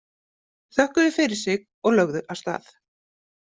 Þökkuðu fyrir sig og lögðu af stað.